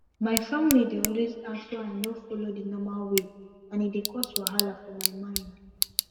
my family dey always ask why i no follow the normal way and e dey cause wahala for my mind